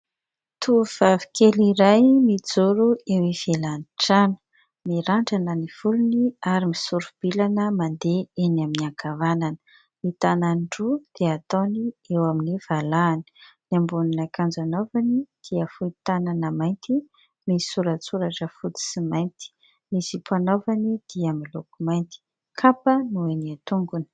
Tovovavy kely iray mijoro eo ivelan'ny trano. Mirandrana ny volony ary misori-bilana mandeha eny amin'ny ankavanana. Ny tanany roa dia ataony eo amin'ny valahany. Ny ambonin'akanjo anaovany dia fohy tanana mainty misy soratsoratra fotsy sy mainty. Ny zipo anaovany dia miloko mainty. Kapa no eny an-tongony.